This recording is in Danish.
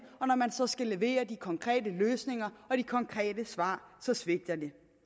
og når man så skal levere de konkrete løsninger og de konkrete svar så svigter